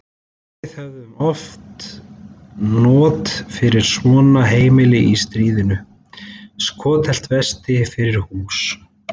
Við hefðum haft not fyrir svona heima í stríðinu: Skotheld vesti fyrir hús.